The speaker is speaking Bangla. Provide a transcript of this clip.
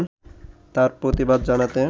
তার প্রতিবাদ জানাতে